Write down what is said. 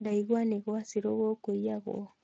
Ndaigua nĩ gwa shiru gũkũiyagwo